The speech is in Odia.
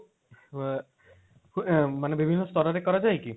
ମାନେ ବିଭିନ୍ନ ସ୍ତର ରେ କରାଯାଏ କି?